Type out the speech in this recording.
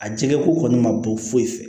A jɛgɛ ko kɔni ma bon foyi fɛ